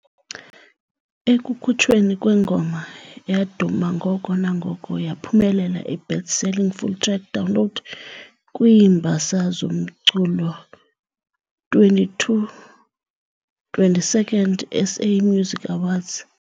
Ekukhutshweni kwengoma, yaduma ngoko nangoko, yaphumelela i-"Best Selling Full-Track Download" kwiiMbasa zoMculo 22 22nd SA music awards.